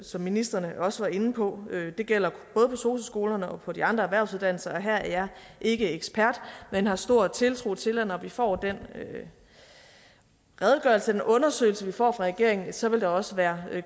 som ministrene også var inde på det gælder både på sosu skolerne og på de andre erhvervsuddannelser og her er jeg ikke ekspert men har stor tiltro til at når vi får den redegørelse og undersøgelse vi får fra regeringen så vil der også være